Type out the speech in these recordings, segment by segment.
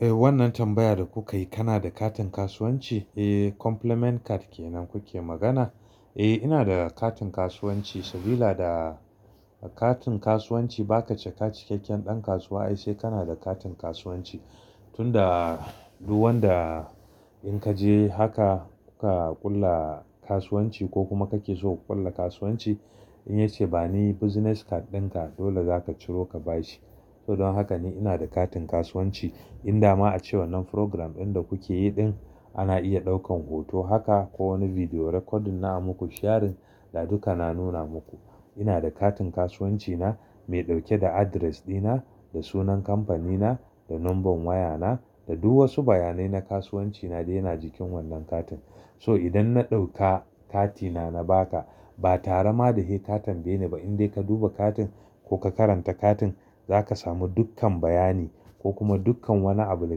Eh wannan tambaya da kuka yi kana da katin kasuwanci? Eh compliment card kenan kuke magana? Eh ina da katin kasuwanci, sabida da katin kasuwanci ba ka cika cikakken ɗan kasuwa ai sai kana da katin kasuwanci. Tunda duk wanda in ka je haka kuka ƙulla kasuwanci ko kuma kake so ku ƙulla kasuwanci in ya ce bani business card ɗinka dole zaka ciro ka bashi. To don haka ni ina da katin kasuwanci in dama a ce wannan program ɗin da kuke yi ɗin ana iya ɗaukan hoto haka ko wani video recording na a muku sharing, da duka na nuna muku. Ina da katin kasuwanci na mai ɗauke da address dina, da sunan kamfanina, da number wayana da du wasu bayanai na kasuwancina dai yana jikin wannan katin. So idan na ɗauka katina na baka ba tara ma da he ka tambaye ni ba in dai ka duba katin ko ka karanta katin zaka samu dukkan bayani ko kuma dukkan wani abu da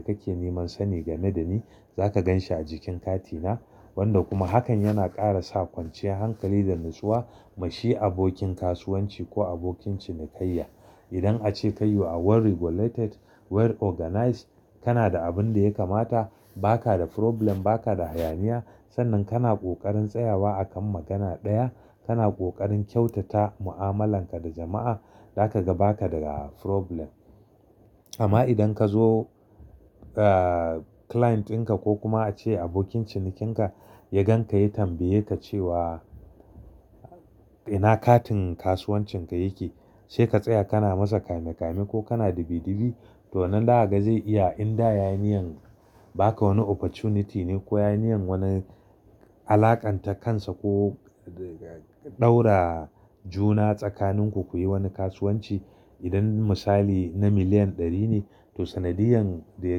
kake neman sani game da ni zaka gan shi a jikin katina. Wanda kuma hakan yana ƙara sa kwanciyar hankali da natsuwa gashi abokin kasuwanci ko abokin cinikayya. Idan ace ka you are well regulated, well organized kana da abin da ya kamata, ba ka da problem, ba ka da hayaniya sannan kana ƙoƙarin tsayawa akan magana ɗaya, kana ƙoƙarin kyautata mu'amalarka da jama'a, zaka gaba ka daga problem. Amma idan ka zo ah client ɗinka ko kuma ace abokin cinikinka ya gan ka ya tambaye ka cewa ina katin kasuwancin ka yake? Sai ka tsaya kana masa kame kame ko kana dibi dibi to nan zakaga zai iya in da ya yi niyyan baka wani opportunity ne ko ya yi niyyan wani alaƙanta kansa ko ɗaura juna tsakanin ku kuyi wani kasuwanci. Idan misali na miliyan ɗari ne to sanadiyan da ya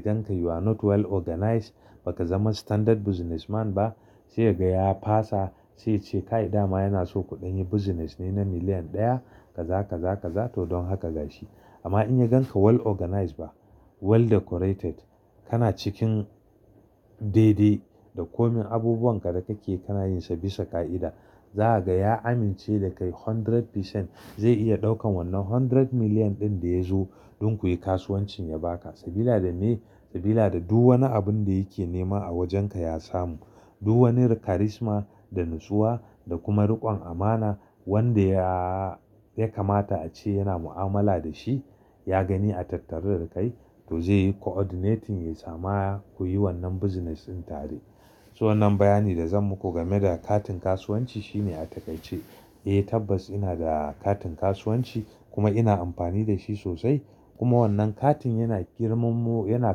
ganka you are not well organized baka zama standard businessman ba sai yaga ya fasa, sai ya ce kai dama yana so kuɗan yi business ne na miliyan ɗaya kaza kaza kaza to don haka gashi. Amma in ya gan ka well organized ba well decorated kana cikin daidai da komin abubuwan ka da kake kanayinsa bisa ƙa'ida, za haga ya amince da kai hundred percent zai iya daukan wannan hundred million ɗin da ya zo don kuyi kasuwancin ya baka. Sabida da me? Sabida da duk wani abin da yake nema a wajenka ya samu, duk wani karisma da natsuwa da kuma riƙon amana wanda ya, ya kamata ace yana mu'amala da shi ya gani a tattare da kai to zai yi coordinating ya sama ku yi wannan business ɗin tare. So wannan bayani da zan muku game da katin kasuwanci shine a takaice, eh tabbas ina da katin kasuwanci kuma ina amfani da shi sosai. Kuma wannan katin yana girman mo, yana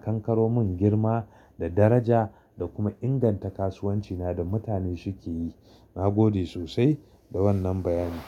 kankaro mun girma da daraja da kuma inganta kasuwanci na da mutane suke yi. Nagode sosai da wannan bayani.